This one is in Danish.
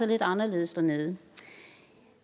lidt anderledes dernede